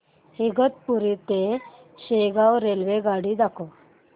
इगतपुरी ते शेगाव रेल्वेगाडी दाखव